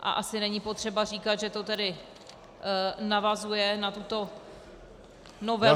A asi není potřeba říkat, že to tedy navazuje na tuto novelu -